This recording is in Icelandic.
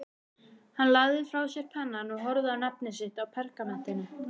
Hann lagði frá sér pennann og horfði á nafnið sitt á pergamentinu.